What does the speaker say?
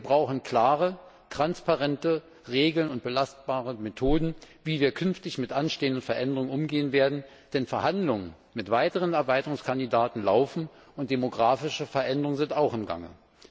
Wir brauchen klare, transparente Regeln und belastbare Methoden, wie wir künftig mit anstehenden Veränderungen umgehen werden, denn Verhandlungen mit weiteren Erweiterungskandidaten laufen und demografische Veränderungen sind auch im Gange.